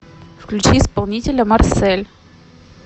включи исполнителя марсель